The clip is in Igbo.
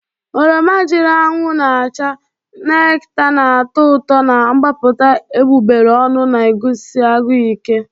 Oroma jiri anwụ na-acha, nekta na-atọ ụtọ na-agbapụta egbugbere ọnụ na-agụsi agụụ ike.